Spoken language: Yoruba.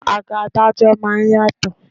Àga adájọ́ máa ń yàtọ̀.